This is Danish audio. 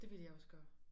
Det ville jeg også gøre